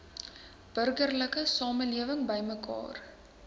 burgerlike samelewing bymekaar